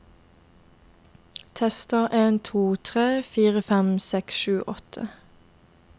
Tester en to tre fire fem seks sju åtte